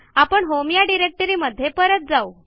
आपण होम या डिरेक्टरीमध्ये परत जाऊ